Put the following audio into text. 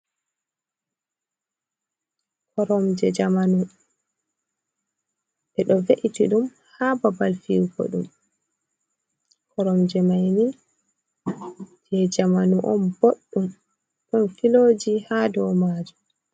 koromje jamanu, e ɗo ve’iti ɗum ha babal fiyugo ɗum, koromje manni jei jamanu on boɗɗum, ɗon filoji ha dow majum.